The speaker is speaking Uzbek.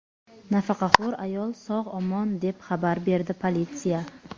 Nafaqaxo‘r ayol sog‘-omon, deb xabar berdi politsiya.